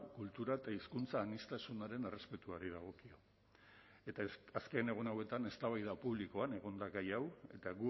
kultura eta hizkuntza aniztasunaren errespetuari dagokio eta azken egun hauetan eztabaida publikoan egon da gai hau eta